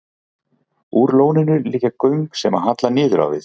Úr lóninu liggja göng sem halla niður á við.